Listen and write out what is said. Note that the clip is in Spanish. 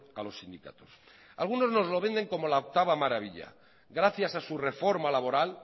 a los sindicatos algunos nos lo venden como la octava maravilla gracias a su reforma laboral